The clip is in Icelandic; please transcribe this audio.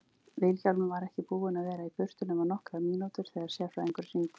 Vilhjálmur var ekki búinn að vera í burtu nema nokkrar mínútur þegar sérfræðingurinn hringdi.